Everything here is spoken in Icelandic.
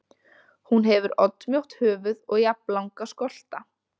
Hún hefur oddmjótt höfuð og jafnlanga skolta.